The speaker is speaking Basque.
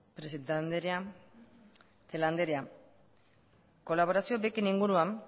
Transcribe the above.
presidente andrea celaá andrea kolaborazio beken inguruan